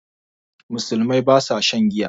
Musulmai ba sa shan giya